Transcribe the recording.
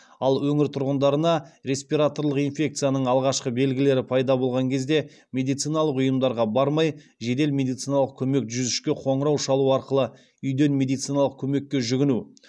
ал өңір тұрғындарына респираторлық инфекцияның алғашқы белгілері пайда болған кезде медициналық ұйымдарға бармай жедел медициналық көмек жүз үшке қоңырау шалу арқылы үйден медициналық көмекке жүгіну